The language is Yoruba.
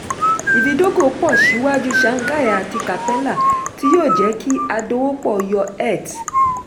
ìfidógo pọ̀ ṣíwájú shanghai àti capella tí yóò jẹ́ kí adòwòpọ̀ yọ eth.